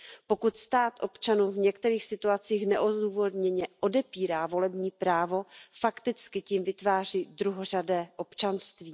Pokud stát občanům v některých situacích neodůvodněně odepírá volební právo, fakticky tím vytváří druhořadé občanství.